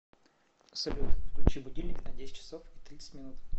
салют включи будильник на десять часов и тридцать минут